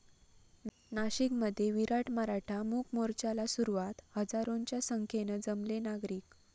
नाशिकमध्ये विराट मराठा मूकमोर्चाला सुरुवात, हजारोंच्या संख्येनं जमले नागरिक